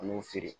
An b'u feere